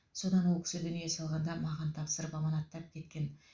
содан ол кісі дүние салғанда маған тапсырып аманаттап кеткен